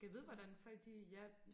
gad vide hvordan folk de ja